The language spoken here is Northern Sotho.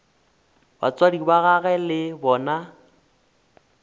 batswadi ba gagwe le bona